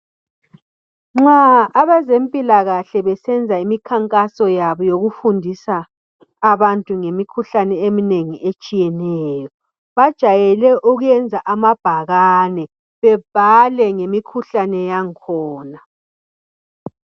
Nxa abazempilakahle besenza imikhankaso yabo yokufundisa abantu ngemikhuhlane eminengi etshiyeneyo bajayele ukuyenza amabhakane bebhale ngemikhuhlane yangkhona.